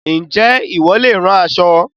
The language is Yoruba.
Ǹjẹ́ ìwọ leè rán aṣọ